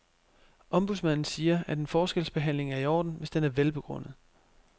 Ombudsmanden siger, at en forskelsbehandling er i orden, hvis den er velbegrundet.